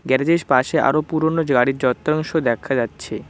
Garage -এর পাশে আরও পুরনো য-গাড়ির যন্ত্রাংশ দেখা যাচ্ছে।